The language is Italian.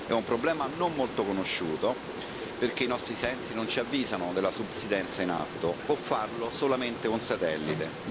È un problema non molto conosciuto, perché i nostri sensi non ci avvisano della subsidenza in atto, può farlo solamente un satellite.